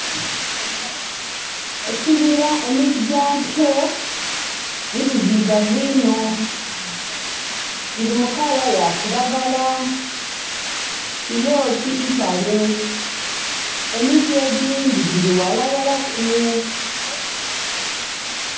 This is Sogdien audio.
Ekibira emiti gyakyo mizizigavu inho giri mu color yakiragala. Giri otitale. Emiti egindhi giri ghalaghalaku.